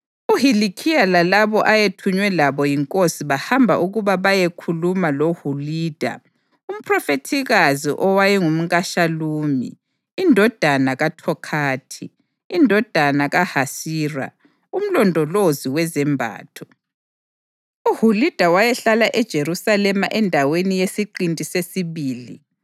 UHilikhiya lalabo ayethunywe labo yinkosi bahamba ukuba bayekhuluma loHulida umphrofethikazi owayengumkaShalumi indodana kaThokhathi, indodana kaHasira, umlondolozi wezembatho. UHulida wayehlala eJerusalema endaweni yeSiqinti Sesibili.